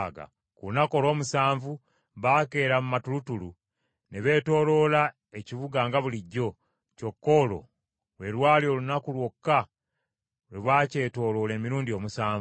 Ku lunaku olw’omusanvu baakeera mu matulutulu ne beetooloola ekibuga nga bulijjo, kyokka olwo lwe lwali olunaku lwokka lwe baakyetooloola emirundi omusanvu.